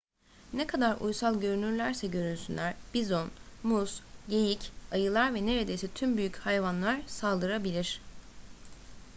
ne kadar uysal görünürlerse görünsünler bizon mus geyik ayılar ve neredeyse tüm büyük hayvanlar saldırabilir